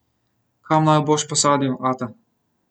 Kam naju boš posadil, ata?